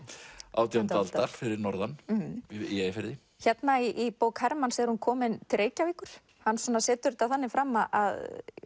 átjándu aldar fyrir norðan í Eyjafirði hérna í bók Hermanns er hún komin til Reykjavíkur hann setur þetta þannig fram að